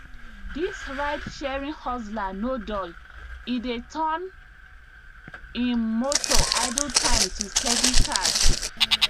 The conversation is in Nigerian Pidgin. dis ridesharing hustler no dull e dey turn im motor idle time to steady cash